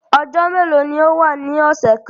Ọjọ melo ni o wa ni ọsẹ kan?